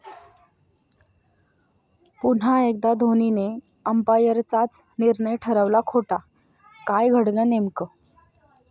पुन्हा एकदा धोनीने अंपायरचाच निर्णय ठरवला खोटा, काय घडलं नेमकं?